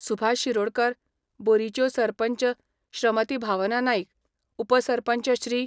सुभाष शिरोडकर, बोरीच्यो सरपंच श्रमती भावना नाईक, उपसरपंच श्री.